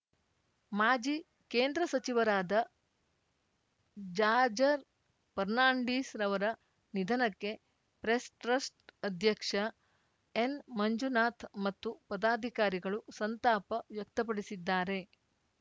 ಮಾಜಿ ಕೇಂದ್ರ ಸಚಿವರಾದ ಜಾರ್ಜರ್ ಫರ್ನಾಂಡೀಸ್‌ರವರ ನಿಧನಕ್ಕೆ ಪ್ರೆಸ್‌ಟ್ರಸ್ಟ್‌ ಅಧ್ಯಕ್ಷ ಎನ್‌ ಮಂಜುನಾಥ್ ಮತ್ತು ಪದಾಧಿಕಾರಿಗಳು ಸಂತಾಪ ವ್ಯಕ್ತಪಡಿಸಿದ್ದಾರೆ